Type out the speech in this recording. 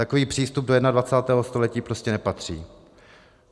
Takový přístup do 21. století prostě nepatří.